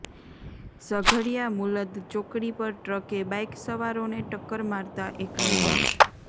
ઝઘડિયા મુલદ ચોકડી પર ટ્રકે બાઇક સવારોને ટક્કર મારતાં એકનું મોત